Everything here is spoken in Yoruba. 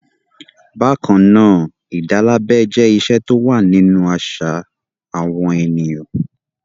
Bákan náà, ìdálábẹ jẹ́ ìṣe tó wà nínú àṣà àwọn ènìyàn.